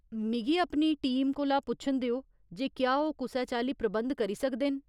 मिगी अपनी टीम कोला पुच्छन देओ जे क्या ओह् कुसै चाल्ली प्रबंध करी सकदे न।